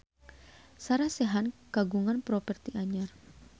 Sarah Sechan kagungan properti anyar